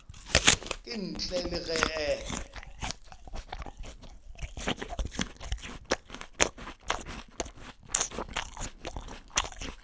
ka ntle le ge e